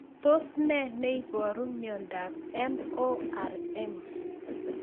Tos ne neiparu miondop MORM